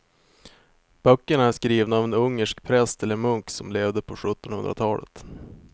Böckerna är skrivna av en ungersk präst eller munk som levde på sjuttonhundratalet.